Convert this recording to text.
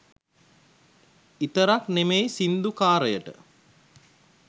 ඉතරක් නෙමෙයි සින්දු කාරයට